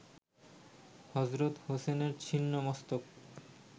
হজরত হোসেনের ছিন্ন মস্তক